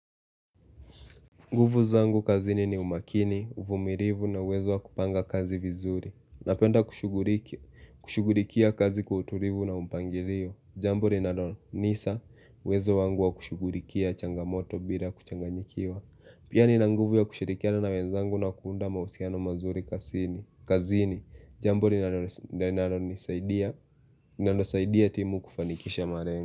Nguvu zangu kazini ni umakini, uvumilivu na uwezo wa kupanga kazi vizuri. Napenda kushugulikia kazi kutulivu na umpangilio. Jambo linalo Nisa, uwezo wangu wa kushugulikia changamoto bila kuchanganyikiwa. Pia nina nguvu ya kushirikiana na wenzangu na kuunda mahusiano mazuri kazini Jambo linalo saidia timu kufanikisha malengo.